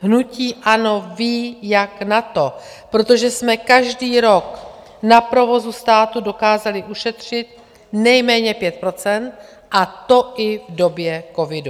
Hnutí ANO ví, jak na to, protože jsme každý rok na provozu státu dokázali ušetřit nejméně 5 %, a to i v době covidu.